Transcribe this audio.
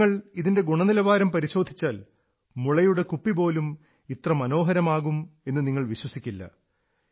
നിങ്ങൾ ഇതിന്റെ ഗുണനിലവാരം പരിശോധിച്ചാൽ മുളയുടെ കുപ്പിപോലും ഇത്ര മനോഹരമാകാം എന്ന് നിങ്ങൾ വിശ്വസിക്കില്ല